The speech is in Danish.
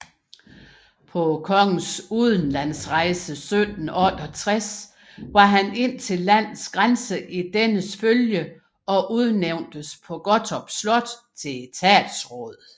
På kongens udenlandsrejse 1768 var han indtil landets grænse i dennes følge og udnævntes på Gottorp Slot til etatsråd